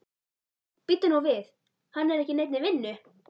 Bíddu nú við, hann er ekki í neinni vinnu?